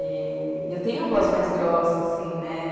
E, e eu tenho a voz mais grossa, assim, né?